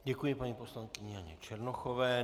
Děkuji paní poslankyni Janě Černochové.